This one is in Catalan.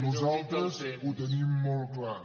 nosaltres ho tenim molt clar